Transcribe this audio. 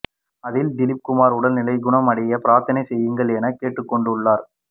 அதில் திலீப் குமார் உடல் நிலை குணம் அடைய பிரார்த்தனை செய்யுங்கள் என கேட்டுக்கொண்டு உள்ளார்